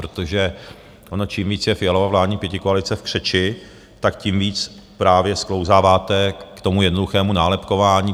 Protože ono čím víc je Fialova vládní pětikoalice v křeči, tak tím víc právě sklouzáváte k tomu jednoduchému nálepkování.